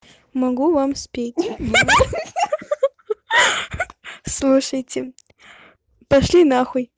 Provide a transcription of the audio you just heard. могу вам спеть ха-ха слушайте пошли на хуй